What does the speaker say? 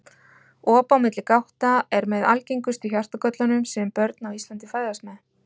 Op á milli gátta er með algengustu hjartagöllunum sem börn á Íslandi fæðast með.